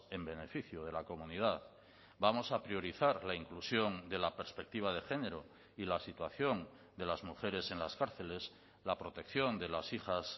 en beneficio de la comunidad vamos a priorizar la inclusión de la perspectiva de género y la situación de las mujeres en las cárceles la protección de las hijas